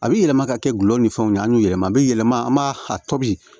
A bɛ yɛlɛma ka kɛ gulɔ ni fɛnw ye an y'u yɛlɛma a bɛ yɛlɛma an b'a a tobi